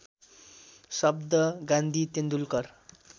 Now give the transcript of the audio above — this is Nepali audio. शब्द गान्धी तेन्दुलकर